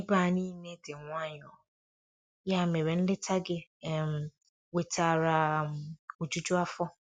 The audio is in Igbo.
Ebe a niile dị nwayọ, ya mere nleta gị um wetara um ojuju afọ.